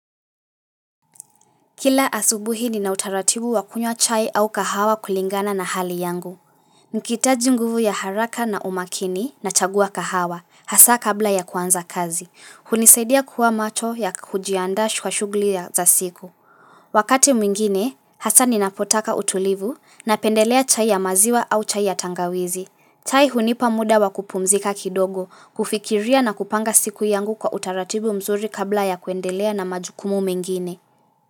Kila asubuhi ni na utaratibu wa kunywa chai au kahawa kulingana na hali yangu. Nikihitaji nguvu ya haraka na umakini nachagua kahawa, hasa kabla ya kuanza kazi. Hunisaidia kuwa macho ya kujiandaa kwa shugli ya za siku. Wakati mwingine, hasa ni napotaka utulivu na pendelea chai ya maziwa au chai ya tangawizi. Chai hunipa muda wa kupumzika kidogo, kufikiria na kupanga siku yangu kwa utaratibu mzuri kabla ya kuendelea na majukumu mengine.